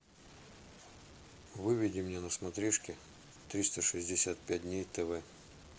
выведи мне на смотрешке триста шестьдесят пять дней тв